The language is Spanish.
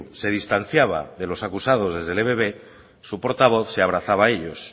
se distanciada de los acusados desde el ebb su portavoz se abrazaba a ellos